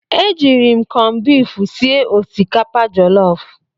E jiiri m kọmbif sie osikapa jọlọf.